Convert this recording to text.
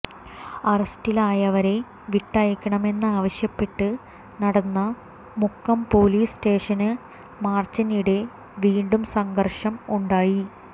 അറസ്റ്റിലായവരെ വിട്ടയക്കണമെന്നാവശ്യപ്പെട്ട് നടന്ന മുക്കം പൊലീസ് സ്റ്റേഷന് മാര്ച്ചിനിടെ വീണ്ടും സംഘര്ഷം ഉണ്ടായി